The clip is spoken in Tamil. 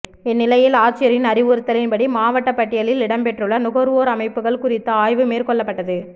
இந்நிலையில் ஆட்சியரின் அறிவுறுத்தல்படி மாவட்டப் பட்டியலில் இடம்பெற்றுள்ள நுகா்வோா் அமைப்புகள் குறித்த ஆய்வு மேற்கொள்ளப்பட்டது